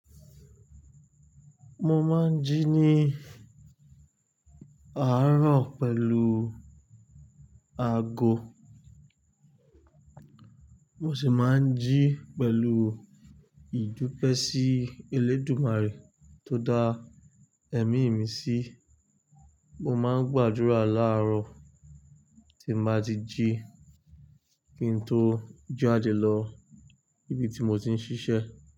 Mo máa ń jí ní àárọ̀ pẹ̀lú ago, mo sì máa ń jí pẹ̀lú ìdúpẹ́ sí Elédùmarè tó dá ẹ̀mí mi sí. Mo máa ń gbàdúrà láàárọ̀ tí màá ti jí kí n tó jàjẹlọ ibi tí mò ti ń ṣiṣẹ́.